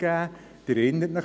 Sie erinnern sich: